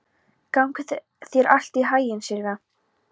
Gangi þér allt í haginn, Silvía.